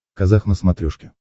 казах на смотрешке